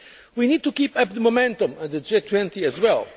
We need to keep up the momentum on the G20 as well.